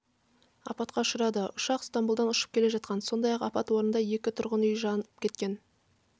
апатқа ұшырады ұшақ стамбұлдан ұшып келе жатқан сондай-ақ апат орнында екі тұрғын үй жанып кеткен